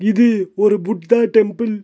இது ஒரு புத்தா டெம்பிள் .